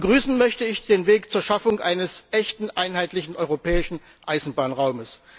Begrüßen möchte ich den Weg zur Schaffung eines echten, einheitlichen europäischen Eisenbahnraums.